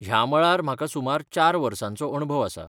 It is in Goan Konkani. ह्या मळार म्हाका सुमार चार वर्सांचो अणभव आसा.